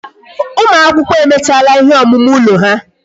Ụmụ akwụkwọ emechala ihe omume ụlọ ha